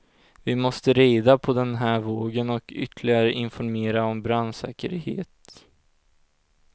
Vi måste rida på den här vågen och ytterligare informera om brandsäkerhet.